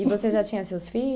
E você já tinha seus filhos?